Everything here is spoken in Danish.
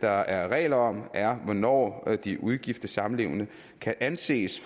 der er regler om er hvornår de ugifte samlevende kan anses